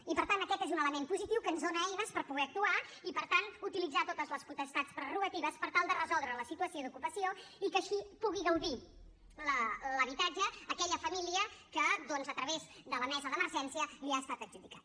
i per tant aquest és un element positiu que ens dona eines per poder actuar i per tant utilitzar totes les potestats prerrogatives per tal de resoldre la situació d’ocupació i que així pugui gaudir l’habitatge aquella família a què doncs a través de la mesa d’emergència li ha estat adjudicat